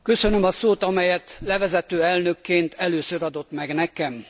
Köszönöm a szót, amelyet levezető elnökként először adott meg nekem.